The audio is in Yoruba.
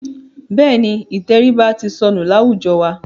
Bẹ́ẹ̀ni, ìtẹríba ti sọnù láwùjọ wa.